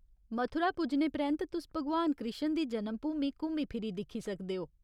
मथुरा पुज्जने परैंत्त, तुस भगवान कृश्ण दी जनमभूमी घुम्मी फिरी दिक्खी सकदे ओ।